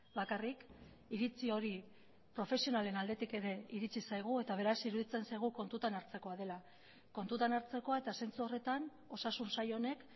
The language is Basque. bakarrik iritzi hori profesionalen aldetik ere iritsi zaigu eta beraz iruditzen zaigu kontutan hartzekoa dela kontutan hartzekoa eta zentzu horretan osasun sail honek